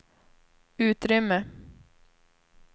utrymme